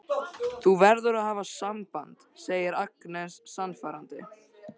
Þú verður að hafa samband, segir Agnes sannfærandi.